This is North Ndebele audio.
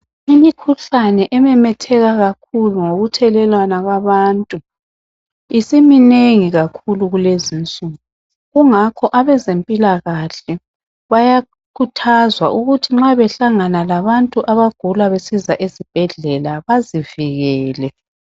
Imikhuhlane ememetheka kakhulu ngokuthelelwana kwabantu. Isiminengi kakhulu kulezinsuku, kungakho abezempilakahle bayakhuthazwa ukuthi nxa behlangana labantu abagula besiza esibhedlela bazivikele.